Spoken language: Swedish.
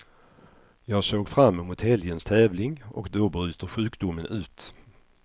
Jag såg fram emot helgens tävling och då bryter sjukdomen ut.